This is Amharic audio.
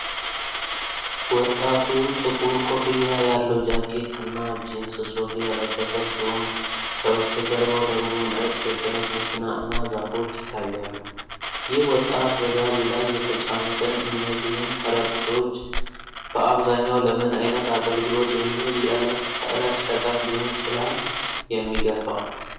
ወጣቱ ጥቁር ኮፍያ ያለው ጃኬት እና ጂንስ ሱሪ የለበሰ ሲሆን፣ ከበስተጀርባው ደግሞ ነጭ የጭነት መኪና እና ዛፎች ይታያሉ። ይህ ወጣት በጋሪው ላይ የተጫኑትን እነዚህን ከረጢቶች በአብዛኛው ለምን አይነት አገልግሎት የሚውል የዕለት ተዕለት ሸቀጥ ሊሆን ይችላል የሚገፋው?